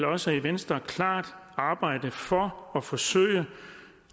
også i venstre klart arbejde for at forsøge